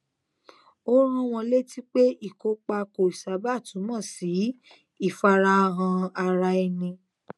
ó rán wọn létí pé ìkópa kò sábà túmọ sí ìfarahàn ara ẹni